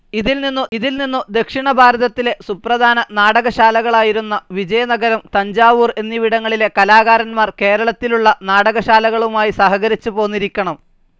ഇതിൽ നിന്നു ദക്ഷിണഭാരതത്തിലെ സുപ്രധാന നാടകശ്ശാലകളായിരുന്ന വിജയനഗരം, തഞ്ചാവൂർ എന്നിവിടങ്ങളിലെ കലാകാരന്മാർ കേരളത്തിലുള്ള നാടകശ്ശാലകളുമായി സഹകരിച്ചുപോന്നിരിക്കണം.